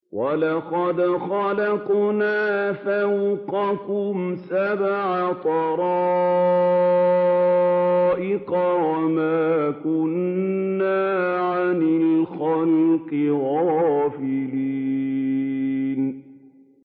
وَلَقَدْ خَلَقْنَا فَوْقَكُمْ سَبْعَ طَرَائِقَ وَمَا كُنَّا عَنِ الْخَلْقِ غَافِلِينَ